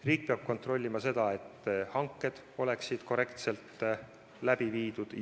Riik peab kontrollima, et hanked oleksid korrektselt läbi viidud.